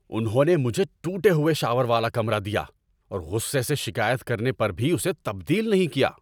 انہوں نے مجھے ٹوٹے ہوئے شاور والا کمرہ دیا اور غصے سے شکایت کرنے پر بھی اسے تبدیل نہیں کیا۔